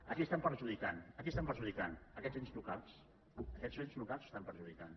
a qui estan perjudicant a qui estan perjudicant a aquests ens locals a aquests ens locals estan perjudicant